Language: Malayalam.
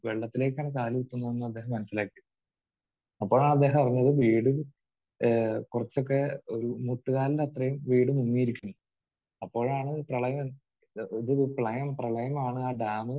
വെള്ളത്തിലേക്കാണ് കാൽ കുത്തുന്നതെന്ന് അദ്ദേഹം മനസ്സിലാക്കിയത്. അപ്പോഴാണ് അദ്ദേഹം അറിഞ്ഞത് വീടും ഏഹ് കുറച്ചൊക്കെ ഒരു മുട്ടുകാലിന്റെ അത്രയും ഉയരെ മുങ്ങിയിരിക്കുന്നു. അപ്പോഴാണ് പ്രളയം ഇതൊരു പ്ല...പ്രളയമാണ് ആ ഡാം